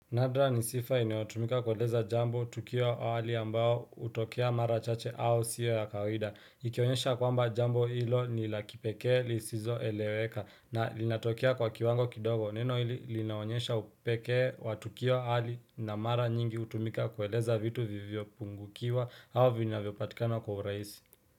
Nadra ni sifa inaotumika kuweleza jambo tukio awali ambao utokea mara chache au siyo ya kawida. Ikionyesha kwamba jambo ilo nila kipeke lisizo eleweka na linatokia kwa kiwango kidogo. Neno hili linaonyesha upeke wa tukio awali na mara nyingi utumika kuweleza vitu vivio pungukiwa au vinavyopatikana kwa uraisi.